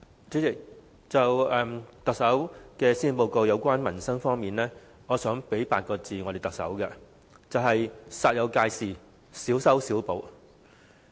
主席，對於特首在施政報告內有關民生的政策和措施，我想對她說8個字，就是"煞有介事，小修小補"。